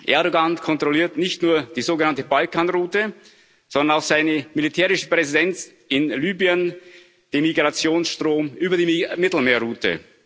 Erdoğan kontrolliert nicht nur die sogenannte Balkanroute, sondern durch seine militärische Präsenz in Libyen auch den Migrantenstrom über die Mittelmeerroute.